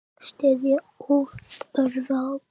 Styðja, uppörva og hvetja.